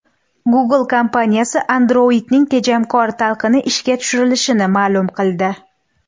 Google kompaniyasi Android’ning tejamkor talqini ishga tushirilishini ma’lum qildi.